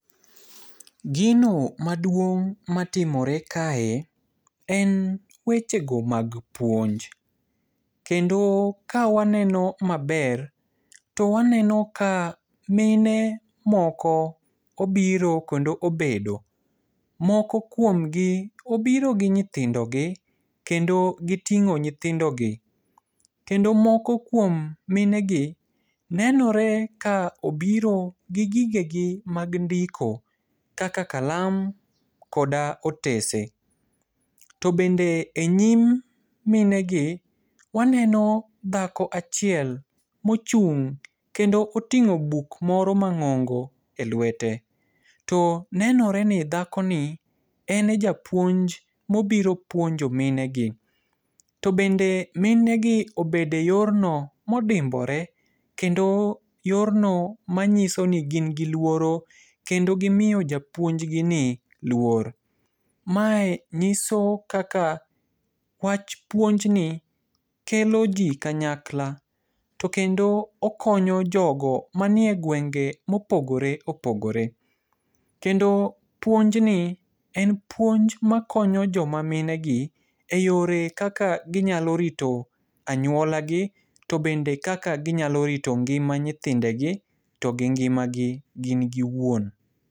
Gino maduong' matimore kae, en wechego mag puonj. Kendo kawaneno maber, to waneno ka mine moko obiro kendo obedo. Moko kuomgi obiro gi nyithindogi kendo giting'o nyithindogi. Kendo moko kuom minegi nenore ka obiro gi gigegi mag ndiko kaka kalam, koda otese. To bende e nyim minegi, waneno dhako achiel mochung', kendo oting'o buk moro mang'ongo e lwete. To nenoreni dhakoni ene japuonj mobiro puonjo minegi. To bende minegi obede yorno modimbore, kendo yorno manyisoni gin gi luoro kendo gimiyo japounj gini luor. Mae nyiso kaka wach puonjni kelo ji kanyakla. To kendo okonyo jogo manie gwenge mopogore opogore. Kendo puonjni en puonj makonyo joma minegi e yore kaka ginyalo rito anyuolagi, to bende kaka ginyalo rito ngima nyithindegi, to gi ngimagi gin giwuon.